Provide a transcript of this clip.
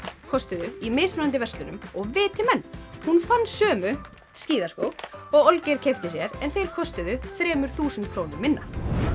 kostuðu í mismunandi verslunum og viti menn hún fann sömu skíðaskó og Olgeir keypti sér en þeir kostuðu þremur þúsund krónum minna